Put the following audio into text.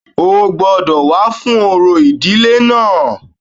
O gbọ́dọ̀ wá fún orò ìdílé náà